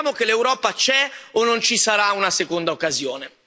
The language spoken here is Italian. Dimostriamo che l'Europa c'è o non ci sarà una seconda occasione.